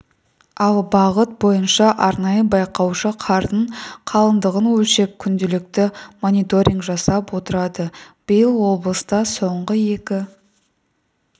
ал бағыт бойынша арнайы байқаушы қардың қалыңдығын өлшеп күнделікті мониторинг жасап отырады биыл облыста соңғы екі